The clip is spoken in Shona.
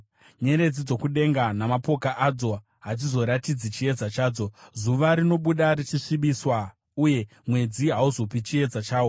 Nyeredzi dzokudenga namapoka adzo hadzizoratidzi chiedza chadzo. Zuva rinobuda richasvibiswa uye mwedzi hauzopi chiedza chawo.